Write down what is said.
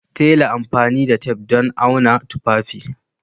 Tela amfani da tef don auna tufafi